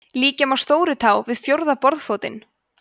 líkja má stórutá við fjórða borðfótinn